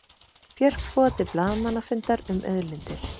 Björk boðar til blaðamannafundar um auðlindir